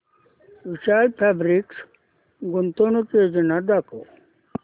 विशाल fabrics गुंतवणूक योजना दाखव